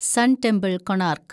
sun temple, Konark